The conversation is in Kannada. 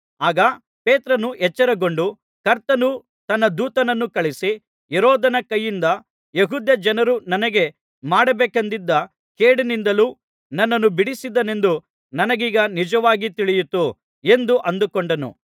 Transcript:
ಆಗ ಪೇತ್ರನು ಎಚ್ಚರಗೊಂಡು ಕರ್ತನು ತನ್ನ ದೂತನನ್ನು ಕಳುಹಿಸಿ ಹೆರೋದನ ಕೈಯಿಂದಲೂ ಯೆಹೂದ್ಯಜನರು ನನಗೆ ಮಾಡಬೇಕೆಂದಿದ್ದ ಕೇಡಿನಿಂದಲೂ ನನ್ನನ್ನು ಬಿಡಿಸಿದನೆಂದು ನನಗೀಗ ನಿಜವಾಗಿ ತಿಳಿಯಿತು ಎಂದು ಅಂದುಕೊಂಡನು